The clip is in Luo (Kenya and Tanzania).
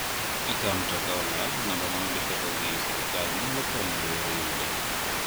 Ka mtoka olal, numba ma ondike go gi silkal nyalo konyo e yor yude.